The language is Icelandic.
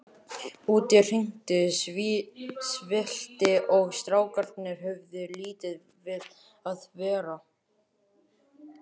Úti rigndi sífellt og strákarnir höfðu lítið við að vera.